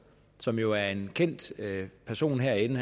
som jo er en kendt person herinde